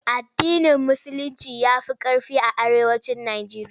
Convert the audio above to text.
AddinIn Musulinci ya fi ƙarfi a Arewacin Nijeriya.